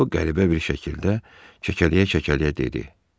O qəribə bir şəkildə kəkələyə-kəkələyə dedi: